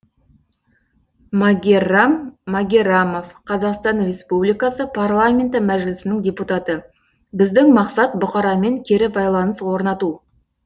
магеррам магеррамов қазақстан республикасы парламенті мәжілісінің депутаты біздің мақсат бұқарамен кері байланыс орнату